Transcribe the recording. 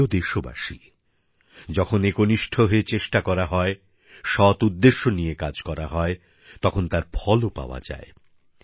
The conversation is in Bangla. আমার প্রিয় দেশবাসী যখন একনিষ্ঠ হয়ে চেষ্টা করা হয় সৎ উদ্দেশ্য নিয়ে কাজ করা হয় তখন তার ফলও পাওয়া যায়